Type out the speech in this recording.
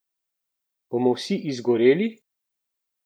Bomo vsi izgoreli?